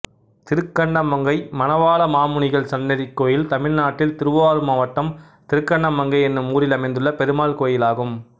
திருக்கண்ணமங்கை மணவாளமாமுனிகள் சன்னதி கோயில் தமிழ்நாட்டில் திருவாரூர் மாவட்டம் திருக்கண்ணமங்கை என்னும் ஊரில் அமைந்துள்ள பெருமாள் கோயிலாகும்